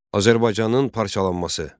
Azərbaycanın parçalanması.